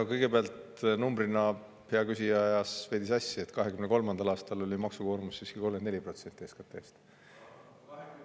No kõigepealt, hea küsija ajas veidi sassi: 2023. aastal oli maksukoormus siiski 34% SKT-st.